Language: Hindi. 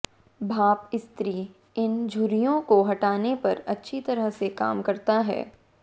भाप इस्त्री इन झुर्रियों को हटाने पर अच्छी तरह से काम करता है